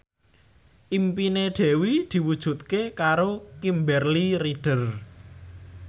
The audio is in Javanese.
impine Dewi diwujudke karo Kimberly Ryder